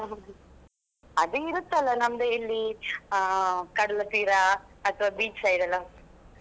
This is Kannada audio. ಹ ಹ ಅದು ಇರುತ್ತಲ್ಲಾ ನಮ್ಮದು ಇಲ್ಲಿ ಕಡಲ ತೀರ ಅಥವಾ beach side ಎಲ್ಲಾ.